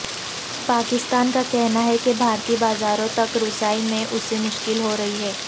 پاکستان کا کہنا ہے کہ بھارتی بازاروں تک رسائی میں اسے مشکل ہورہی ہے